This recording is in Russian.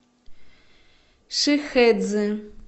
шихэцзы